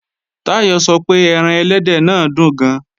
Táyọ̀ sọ pé ẹran ẹlẹ́dẹ̀ náà dùn gan